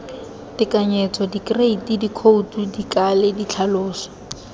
tekanyetso dikereiti dikhoutu dikale ditlhaloso